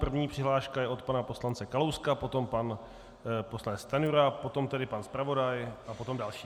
První přihláška je od pana poslance Kalouska, potom pan poslanec Stanjura, potom tedy pan zpravodaj a potom další.